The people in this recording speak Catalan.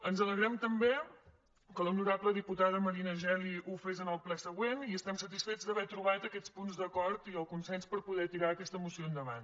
ens alegrem també que l’honorable diputada marina geli ho fes en el ple següent i estem satisfets d’haver trobat aquests punts d’acord i el consens per poder tirar aquesta moció endavant